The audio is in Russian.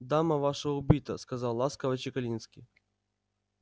дама ваша убита сказал ласково чекалинский